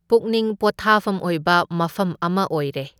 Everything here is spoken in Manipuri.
ꯄꯨꯛꯅꯤꯡ ꯄꯣꯊꯥꯐꯝ ꯑꯣꯏꯕ ꯃꯐꯝ ꯑꯃ ꯑꯣꯏꯔꯦ꯫